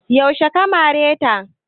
Yaushe ka mare ta?